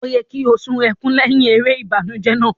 O yẹ ki o sun ẹkùn lẹhin èrè ìbànújẹ náà.